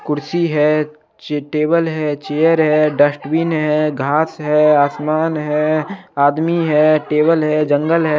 कुर्सी है चे टेबल है चेयर है डस्टबिन है घास है आसमान है आदमी है टेबल है जंगल है।